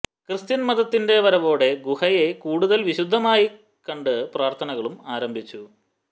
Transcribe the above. Christian മതത്തിന്റെ വരവോടെ ഗുഹയെ കൂടുതൽ വിശുദ്ധമായി കണ്ട് പ്രാർഥനകളും ആരംഭിച്ചു